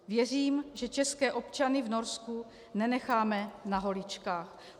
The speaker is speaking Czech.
Věřím, že české občany v Norsku nenecháme na holičkách.